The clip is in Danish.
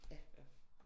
Ja